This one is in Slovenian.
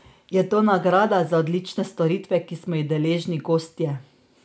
Je to nagrada za odlične storitve, ki smo jih deležni gostje?